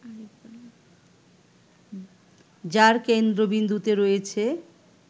যার কেন্দ্রবিন্দুতে রয়েছে